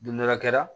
Don dɔ la kɛra